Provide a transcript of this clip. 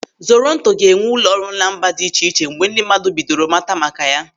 Zoronto ga-enwe ụlọrụ na mba dị iche iche mgbe ndị mmadụ bidoro mata maka ya.